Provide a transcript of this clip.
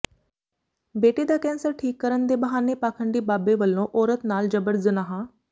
ਬੇਟੇ ਦਾ ਕੈਂਸਰ ਠੀਕ ਕਰਨ ਦੇ ਬਹਾਨੇ ਪਾਖੰਡੀ ਬਾਬੇ ਵਲੋਂ ਔਰਤ ਨਾਲ ਜਬਰ ਜ਼ਨਾਹ